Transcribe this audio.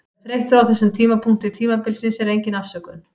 Að vera þreyttur á þessum tímapunkti tímabilsins er engin afsökun.